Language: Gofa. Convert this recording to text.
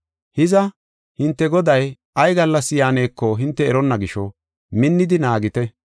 “Hiza, hinte Goday ay gallas yaaneko hinte eronna gisho, minnidi naagite.